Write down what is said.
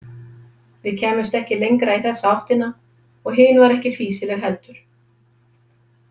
Við kæmumst ekki lengra í þessa áttina, og hin var ekki fýsileg heldur.